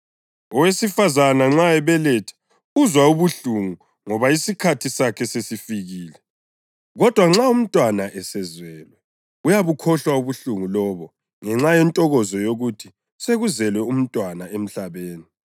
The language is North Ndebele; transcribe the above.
Owesifazane nxa ebeletha uzwa ubuhlungu ngoba isikhathi sakhe sesifikile; kodwa nxa umntwana esezelwe uyabukhohlwa ubuhlungu lobo ngenxa yentokozo yokuthi sekuzelwe umntwana emhlabeni.